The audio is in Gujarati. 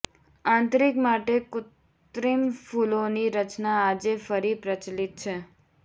આંતરિક માટે કૃત્રિમ ફૂલોની રચના આજે ફરી પ્રચલિત છે